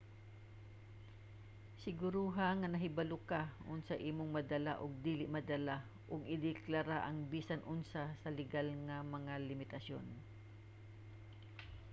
siguruha nga nahibalo ka unsa imong madala ug dili madala ug ideklara ang bisan unsa sa legal nga mga limitasyon